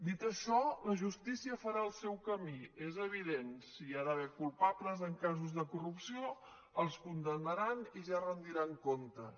dit això la justícia farà el seu camí és evident si hi ha d’haver culpables en casos de corrupció els condemnaran i ja retran comptes